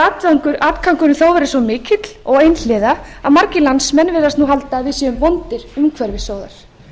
stundum hefur atgangurinn þó verið svo mikill og einhliða að margir landsmenn virðast nú halda að við séum vondir umhverfissóðar